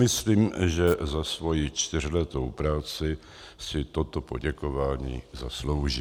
Myslím, že za svoji čtyřletou práci si toto poděkování zaslouží.